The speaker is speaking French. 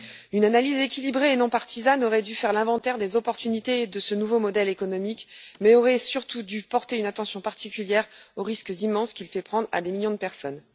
Une analyse équilibrée et non partisane aurait dû faire l'inventaire des débouchés offerts par ce nouveau modèle économique, mais aurait surtout dû porter une attention particulière aux risques immenses qu'il fait prendre à des millions de personnes.